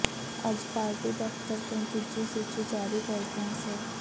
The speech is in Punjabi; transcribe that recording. ਅੱਜ ਪਾਰਟੀ ਦਫਤਰ ਤੋਂ ਦੂਜੀ ਸੂਚੀ ਜਾਰੀ ਕਰਦਿਆ ਸ